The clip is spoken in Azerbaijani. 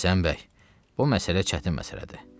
Bilirsən, bəy, bu məsələ çətin məsələdir.